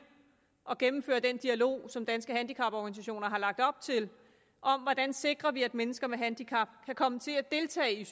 at gennemføre den dialog som danske handicaporganisationer har lagt op til om hvordan vi sikrer at mennesker med handicap kan komme til at deltage